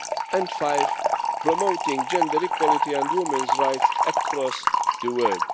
and 5 promoting gender equality and women's rights across the world.